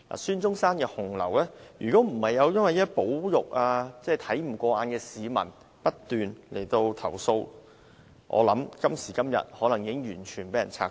孫中山的紅樓過去不受保育，若非有看不過眼的市民不斷投訴，我想今天已被完全拆毀。